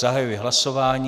Zahajuji hlasování.